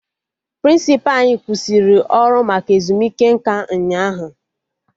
Prịnsịpa anyị kwụsịrị ọrụ maka ezumike nka ụnyaahụ